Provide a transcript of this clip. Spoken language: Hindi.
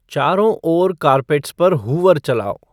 चारों ओर कार्पेट्स पर हूवर चालाओ